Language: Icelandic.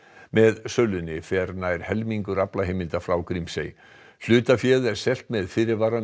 með sölunni fer nær helmingur þeirra aflaheimilda frá Grímsey hlutaféð er selt með fyrirvara um